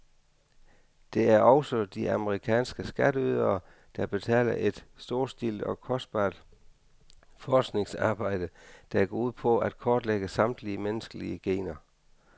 Det er også de amerikanske skatteydere, der betaler et storstilet og kostbart forskningsarbejde, der går ud på at kortlægge samtlige menneskelige gener.